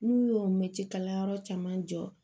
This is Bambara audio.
N'u y'o mɛtiri kalanyɔrɔ caman jɔ